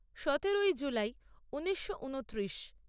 সতেরোই জুলাই ঊনিশো ঊনত্রিশ